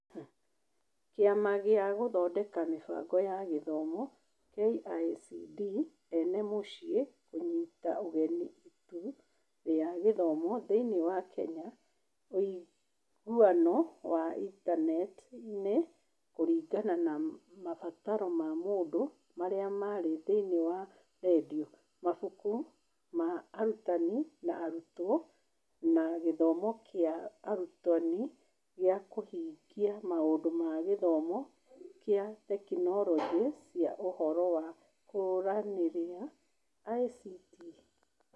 Kĩama gĩa Gũthondeka Mĩbango ya Gĩthomo (KICD) ene mũciĩ kũnyiita ũgeni Ituu rĩa Gĩthomo thĩinĩ wa Kenya (ũiguano wa Intaneti-inĩ kũringana na mabataro ma maũndũ marĩa marĩ thĩinĩ wa redio; mabuku ma arutani na arutwo; na gĩthomo kĩa arutani gĩa kũhingia maũndũ ma gĩthomo kĩa tekinoronjĩ cia ũhoro wa kũaranĩrĩa ICT)